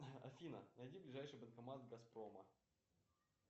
афина найди ближайший банкомат газпрома